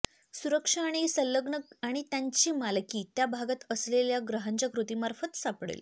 सुरक्षा आणि संलग्नक आणि त्यांची मालकी त्या भागात असलेल्या ग्रहांच्या कृतींमार्फत सापडेल